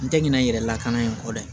N tɛ ɲinɛ n yɛrɛ lakana in kɔ dɛ